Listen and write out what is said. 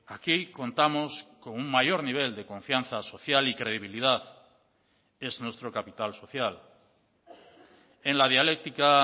aquí contamos con un mayor nivel de confianza social y credibilidad es nuestro capital social en la dialéctica